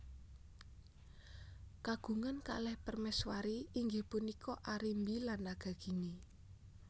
Kagungan kalih prameswuri inggih punika Arimbi lan Nagagini